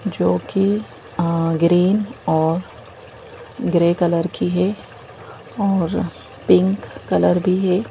जो कि अ ग्रीन और ग्रे कलर की है और पिंक कलर भी है।